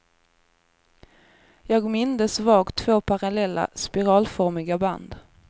Jag mindes vagt två parallella, spiralformiga band.